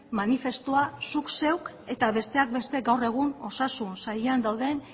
manifestua zuk zeuk eta besteak beste gaur egun osasun sailean dauden